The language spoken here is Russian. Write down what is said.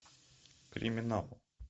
криминал